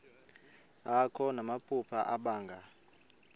akho namaphupha abanga